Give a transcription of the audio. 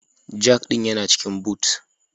Jack ɗin yana cikin Boot